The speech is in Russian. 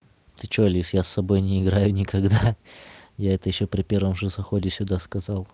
ты что лис с собой не играю никогда я это ещё при первом же заходе сюда сказал